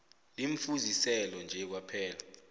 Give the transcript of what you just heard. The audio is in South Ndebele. limfuziselo nje kwaphela